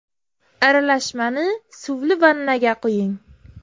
Aralashmani suvli vannaga quying.